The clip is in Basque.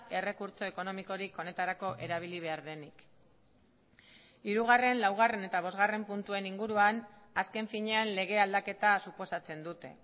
errekurtso ekonomikorik honetarako erabili behar denik hirugarren laugarren eta bosgarren puntuen inguruan azken finean lege aldaketa suposatzen dute